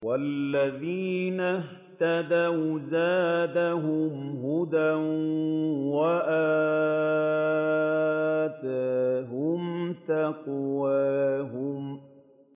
وَالَّذِينَ اهْتَدَوْا زَادَهُمْ هُدًى وَآتَاهُمْ تَقْوَاهُمْ